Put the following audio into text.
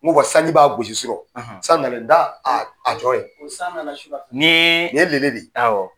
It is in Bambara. N ko wa sanji b'a gosi surɔ san nale nin t'a a tɔ ye san na na sura nin ye de ye awɔ.